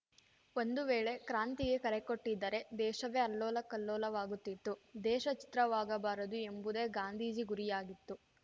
ಒಂದು ವೇಳೆ ಕ್ರಾಂತಿಗೆ ಕರೆಕೊಟ್ಟಿದ್ದರೆ ದೇಶವೆ ಅಲ್ಲೋಲ ಕಲ್ಲೋಲವಾಗುತ್ತಿತ್ತು ದೇಶ ಛಿತ್ರವಾಗಬಾರದು ಎಂಬುದೆ ಗಾಂಧೀಜಿ ಗುರಿಯಾಗಿತ್ತು